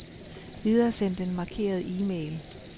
Videresend den markerede e-mail.